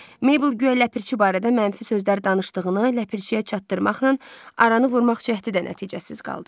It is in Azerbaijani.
Mebl guya Ləpirçi barədə mənfi sözlər danışdığını Ləpirçiyə çatdırmaqla aranı vurmaq cəhdi də nəticəsiz qaldı.